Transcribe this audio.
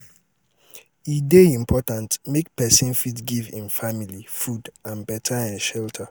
i dey live for house wey get beta water for drinking.